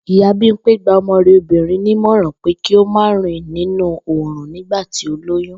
Ìyá Bímpé gba o̩mo̩ rè̩ obìnrin ní ìmò̩ràn pé kí ó má rìn nínú oòrùn nígbà tí ó lóyún